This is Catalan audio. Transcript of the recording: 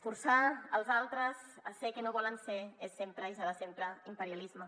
forçar els altres a ser el que no volen ser és sempre i serà sempre imperialisme